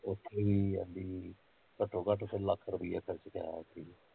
ਉੱਥੇ ਵੀ, ਕਹਿੰਦੀ ਘੱਟੋ ਘੱਟ ਉੱਥੇ ਲੱਖ ਰੁੱਪਈਆ ਖਰਚ ਪਿਆ ਸਿ